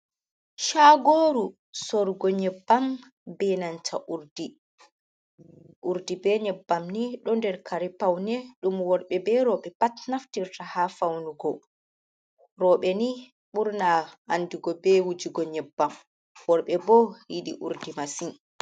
Shaagooru sorrugo nyebbam bee nanta urdi. Urdi bee nyebbam ni, ɗo nder kare paune ɗum worɓe bee rowɓe pat naftirta ha faunugo. Rowɓe ni ɓurna andugo bee wujugo nyebbam, worɓe bo yiɗi urdi masin.